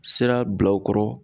Sira bila u kɔrɔ